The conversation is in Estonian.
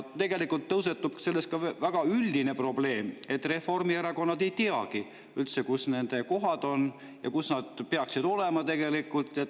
Tegelikult tõusetub siit ka väga üldine probleem, et reformierakondlased ei teagi üldse, kus nende kohad on ja kus nad peaksid tegelikult olema.